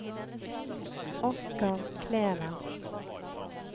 Oscar Kleven